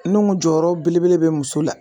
N'o jɔyɔrɔ belebele bɛ muso la